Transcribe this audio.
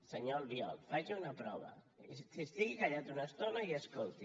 senyor albiol faci una prova estigui callat una estona i escolti